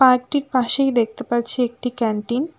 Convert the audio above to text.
পার্কটির পাশেই দেখতে পাচ্ছি একটি ক্যান্টিন ।